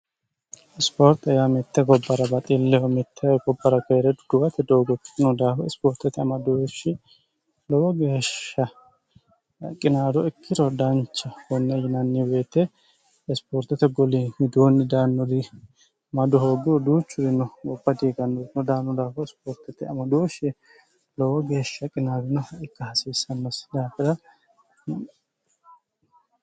isipoorte yaa mitte gobbara baxilleho mittee gobbara keere duduwate doogofiino daafo ispoortote amadoohshi lowo geeshsha qinaado ikkirodaancha konne yinanniweete isipoortote goli hiduonni daannuri madu hoogguruduuchurino gophadihigannorno daannu daafo isipoortote amadooshie lowo geeshsha qinaaginoha ikka hasiissammassi daafira